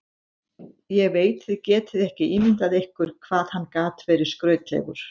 Ég veit þið getið ekki ímyndað ykkur hvað hann gat verið skrautlegur.